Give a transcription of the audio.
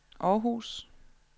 Århus